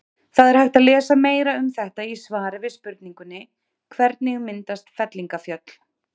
Það er hægt að lesa meira um þetta í svari við spurningunni Hvernig myndast fellingafjöll?